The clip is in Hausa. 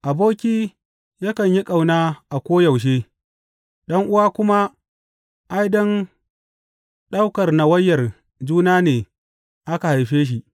Aboki yakan yi ƙauna a koyaushe, ɗan’uwa kuma, ai, don ɗaukar nawayar juna ne aka haife shi.